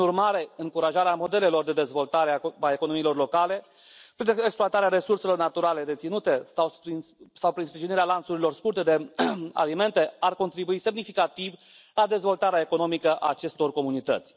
Prin urmare, încurajarea modelelor de dezvoltare a economiilor locale prin exploatarea resurselor naturale deținute sau prin sprijinirea lanțurilor scurte de alimente ar contribui semnificativ la dezvoltarea economică a acestor comunități.